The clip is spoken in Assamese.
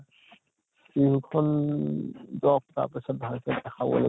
বিহু খন যʼক তাৰ পিছত ভালকে দেখাব